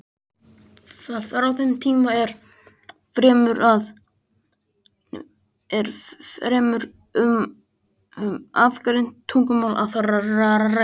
Frá þeim tíma er fremur um aðgreind tungumál að ræða.